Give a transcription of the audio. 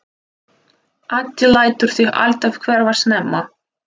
Addi lætur sig alltaf hverfa snemma.